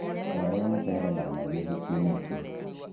Twarĩa mũcere wa nathi ũhiki-inĩ ũcio